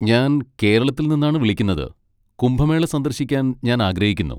ഞാൻ കേരളത്തിൽ നിന്നാണ് വിളിക്കുന്നത്, കുംഭമേള സന്ദർശിക്കാൻ ഞാൻ ആഗ്രഹിക്കുന്നു.